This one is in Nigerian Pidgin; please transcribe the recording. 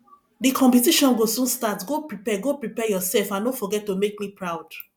the competition go soon start go prepare go prepare yourself and no forget to make me proud